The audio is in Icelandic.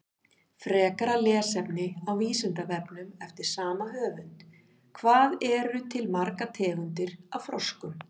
Frekara lesefni á Vísindavefnum eftir sama höfund: Hvað eru til margar tegundir af froskum?